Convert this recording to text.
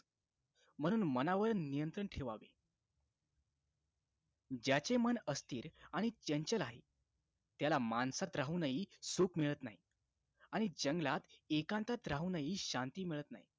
म्हणून मनावर नियंत्रण ठेवावे ज्याचे मन अस्थिर आणि चंचल आहे त्याला माणसात राहूनही सुख मिळत नाही आणि जंगलात एकांतात राहूनही शांती मिळत नाही